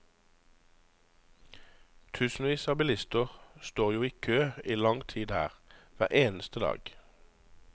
Tusenvis av bilister står jo i kø i lang tid her, hver eneste dag.